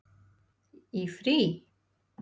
Í frí?